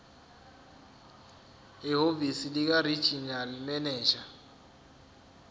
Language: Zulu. ehhovisi likaregional manager